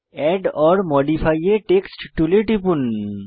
add or modify a text টুলে টিপুন